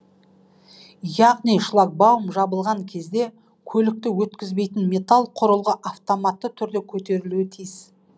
яғни шлагбаум жабылған кезде көлікті өткізбейтін металл құрылғы автоматты түрде көтерілуі тиіс